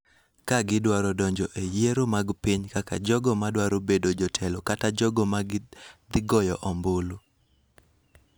ka gidwaro donjo e yiero mag piny kaka jogo ma dwaro bedo jotelo kata jogo ma dhi goyo ombulu.